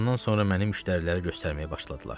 Sağalandan sonra məni müştərilərə göstərməyə başladılar.